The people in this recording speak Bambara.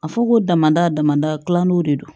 A fɔ ko damada dama dal'iw de do